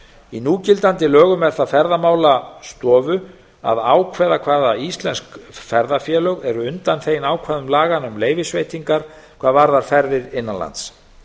í núgildandi lögum er ferðamálastofu að ákveða hvaða íslensk ferðafélög eru undanþegin ákvæðum laganna um leyfisveitingar hvað varðar ferðir innan lands